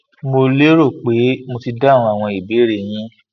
mo lérò pé mo ti dáhùn àwọn ìbéèrè e yín